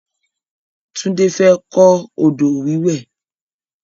Tunde fẹ́ kọ odò wíwẹ̀